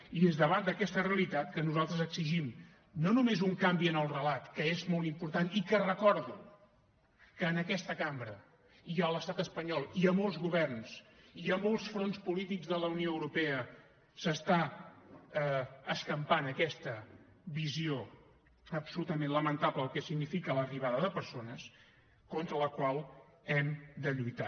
i és davant d’aquesta realitat que nosaltres exigim no només un canvi en el relat que és molt important i que recordo que en aquesta cambra i a l’estat espanyol i a molts governs i a molts fronts polítics de la unió europea s’està escampant aquesta visió absolutament lamentable del que significa l’arribada de persones contra la qual hem de lluitar